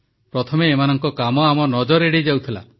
ପ୍ରଥମେ ଏମାନଙ୍କ କାମ ଆମ ନଜର ଏଡେଇ ଯାଉଥିଲା